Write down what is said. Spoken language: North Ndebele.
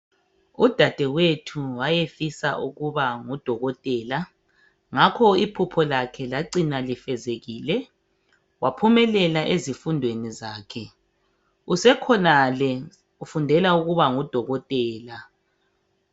Udadewethu wayefisa ukuba ngudokotela ngakho iphupho lakhe lacina lifezekile waphumelela ezifundweni zakhe. Usekhonale ufundela ukuba ngudokotela